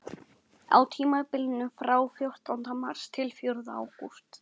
Fátt manna var á ferli, enda veður dimmt og drungalegt.